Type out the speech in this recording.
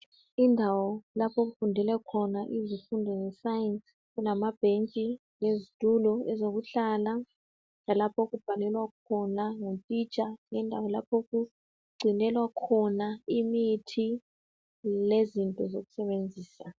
Indawo lapho okufundelwa khona izifundo ze"Science" kulamabhentshi lezitulo ezokuhlala lalapho okubhalelwa khona ngutitsha lendawo lapho okugcinelwa khona imithi lezinto zokusebenzisa.